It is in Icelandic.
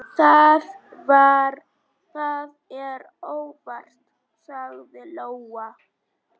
Það er óþarfi, sagði Lóa.